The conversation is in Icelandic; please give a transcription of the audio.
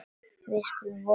Við skulum vona það.